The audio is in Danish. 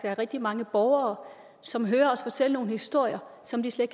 er rigtig mange borgere som hører os fortælle nogle historier som de slet